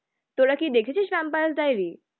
তোরা কি দেখেছিস ভ্যাম্পায়ার ডাইরি